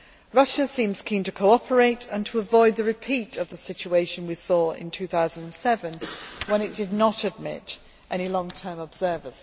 Russia seems keen to cooperate, and to avoid a repeat of the situation we saw in 2007, when it did not admit any long term observers.